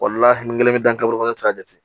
kelen bɛ dankari ne tɛ se k'a jate